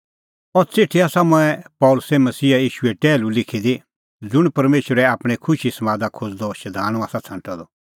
अह च़िठी आसा मंऐं पल़सी मसीहा ईशूए टैहलू लिखी दी ज़ुंण परमेशरै आपणैं खुशीए समादा खोज़दअ शधाणूं आसा छ़ांटअ द